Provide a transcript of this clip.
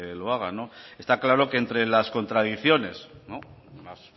lo hagan está claro que entre las contradicciones las